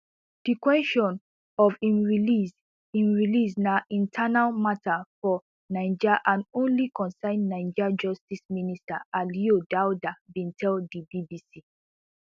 di kwesion of im release im release na internal mata for niger and only concern niger justice minister aliyou daouda bin tell di bbc